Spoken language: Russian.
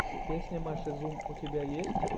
песня маши зум у тебя есть